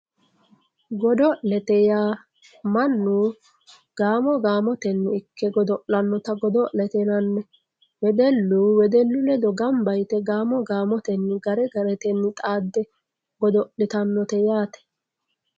Goodo'lette yaa mannu ga'mo ga'motenni ike goodolanotta goidolette yinanni weedellu weedellu leedo ganba yitte ga'mo ga'motenni gaare gaarrtenni xaade goodolitanotte yaatte